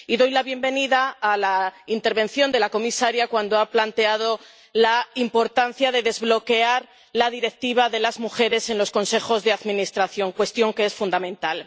Y doy la bienvenida a la intervención de la comisaria en la que ha planteado la importancia de desbloquear la directiva de las mujeres en los consejos de administración, cuestión que es fundamental.